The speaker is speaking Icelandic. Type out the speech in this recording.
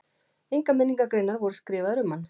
Engar minningargreinar voru skrifaðar um hann.